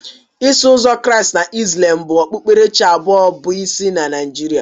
Iso uzọ Kraịst na Ịslam bụ okpukperechi abụọ bụ isi na Naijiria